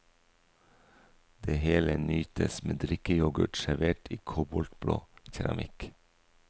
Det hele nytes med drikkeyoghurt servert i koboltblå keramikk.